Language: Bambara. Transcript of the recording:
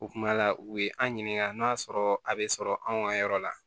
U kuma la u ye an ɲininka n'a y'a sɔrɔ a bɛ sɔrɔ anw ka yɔrɔ la